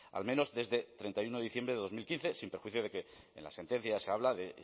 al menos desde treinta y uno de diciembre de dos mil quince sin perjuicio de que en la sentencia se habla de